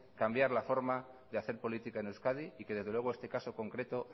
cambiar la forma de hacer política en euskadi y que desde luego este caso concreto